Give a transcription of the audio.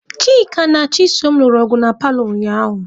Chika na Chisom lụrụ ọgụ na paalọ ụnyaahụ.